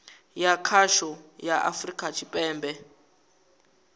ya khasho ya afurika tshipembe